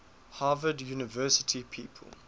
harvard university people